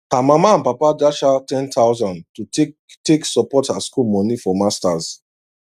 her mama and papa dash her 10000 to take take support her school money for masters